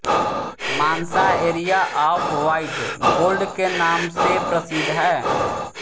Mansa area of white gold के नाम से प्रसिद्ध है